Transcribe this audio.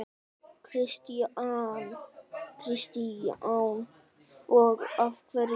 Kristján: Og af hverju?